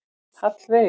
Hallveig